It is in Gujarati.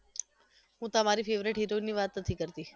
હુ તમારી favourite heroine ની વાત નથી કરતી